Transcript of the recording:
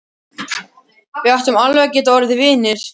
Við áttum alveg að geta orðið vinir.